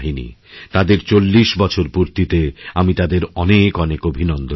তাদের চল্লিশ বছরপূর্তিতে আমি তাদের অনেক অনেক অভিনন্দন জানাই